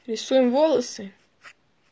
рисуем волосы